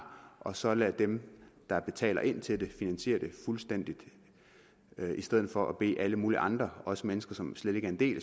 og så lade dem der betaler ind til det finansiere det fuldstændigt i stedet for at bede alle mulige andre også mennesker som slet ikke er en del